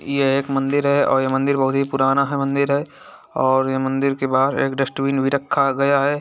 ये एक मंदिर है और ये मंदिर बहुत ही पुराना है मंदिर है और ये मंदिर के बाहर एक डस्टबीन भी रक्खा गया है।